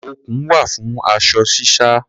Okùn wà fún aṣọ sísá.